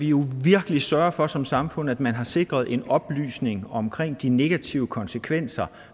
jo virkelig sørge for som samfund at man har sikret oplysning omkring de negative konsekvenser